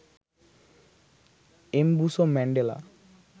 Mbuso Mandela